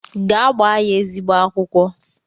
Gaa gbaa ya eziogbe akwụkwọ!